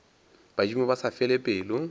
badimo ba sa fele pelo